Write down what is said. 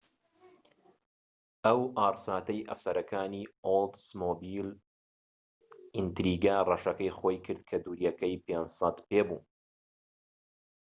ئەو ئاڕساتەی ئەفسەرەکانی ئۆڵدسمۆبیل ئینتریگە ڕەشەکەی خۆی کرد کە دووریەکەی 500 پێ بوو